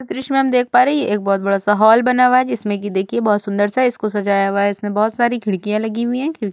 इस दृश्य में हम देख पा रही है एक बहुत बड़ा सा हाल बना हुआ है जिसमें की देखिए बहुत सुंदर सा इसको सजाया हुआ है इसमें बहुत सारी खिड़कियां लगी हुई है खिड़ --